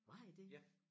Var I det?